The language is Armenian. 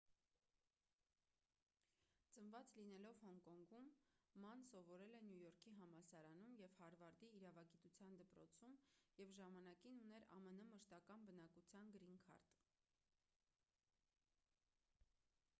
ծնված լինելով հոնկոնգում ման սովորել է նյու յորքի համալսարանում և հարվարդի իրավագիտության դպրոցում և ժամանակին ուներ ամն մշտական բնակության գրին քարտ